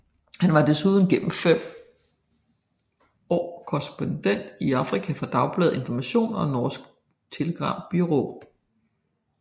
Han var desuden gennem fem år korrespondent i Afrika for Dagbladet Information og Norsk Telegrambyrå